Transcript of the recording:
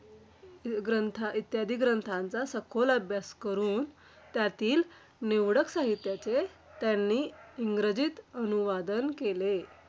खरतर मित्रांनो कोरोना हा रोग चिन या देशातून आपल्या महाराष्ट्र राज्यात आलेला होता.